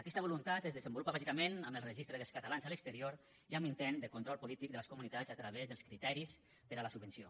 aquesta voluntat es desenvolupa bàsicament amb el registre dels catalans a l’exterior i amb l’intent de control polític de les comunitats a través dels criteris per a la subvenció